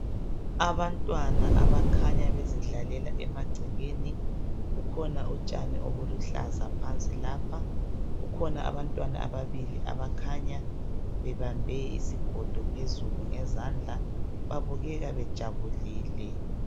Abantwana abakhanya bezidlalela emagcekeni. Kukhona utshani obuluhlaza phansi lapha. Kukhona abantwana ababili abakhanya bebambe isigido phezulu ngezandla .Babukeka bejabulile .